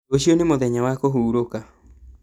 Rũciũ nĩ mũthenya wa kũhurũka